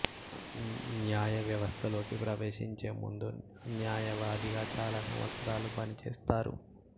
న్యాయ వ్యవస్థలోకి ప్రవేశించే ముందు న్యాయవాదిగా చాలా సంవత్సరాలు పని చేస్తారు